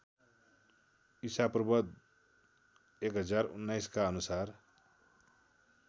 ईपू १०१९ का अनुसार